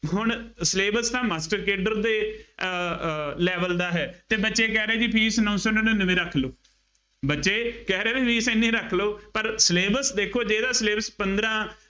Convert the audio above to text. ਹੁਣ syllabus ਤਾਂ master cadre ਦੇ ਅਹ level ਦਾ ਹੈ ਅਤੇ ਬੱਚੇ ਕਹਿ ਰਹੇ ਜੀ fees ਨੌ ਸੌਂ ਨੜਿੱਨਵੇਂ ਰੱਖ ਲਉ। ਬੱਚੇ ਕਹਿ ਰਹੇ ਨਾ fees ਐਨੀ ਰੱਖ ਲਉ। ਪਰ syllabus ਦੇਖੋ ਜਿਹੜਾ syllabus ਪੰਦਰਾਂ